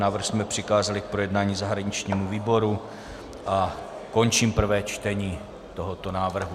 Návrh jsme přikázali k projednání zahraničnímu výboru a končím prvé čtení tohoto návrhu.